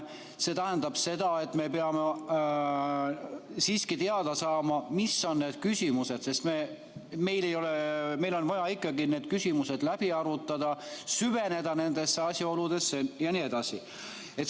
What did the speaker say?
See tähendab seda, et me peame siiski teada saama, mis on need küsimused, sest meil on vaja need küsimused läbi arutada, süveneda nendesse asjaoludesse jne.